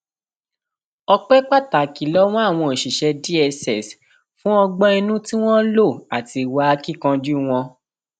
ọpẹ pàtàkì lowó àwọn òṣìṣẹ dss fún ọgbọn inú tí wọn lò àti ìwà akínkanjú wọn